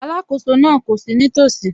Alákóso náà kò sí nítòsí